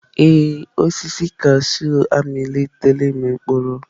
Ee, osisi kashụụ amalitela ịmị mkpụrụ.